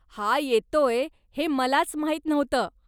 हा येतोय हे मलाच माहीत नव्हतं.